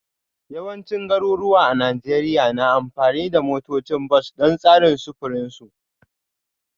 Yawancin garuruwa a Najeriya na amfani da motocin bas don tsarin sufurin su